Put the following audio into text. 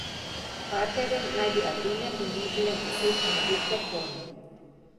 Partnerjem naj bi Atene ponudile deset novih reform.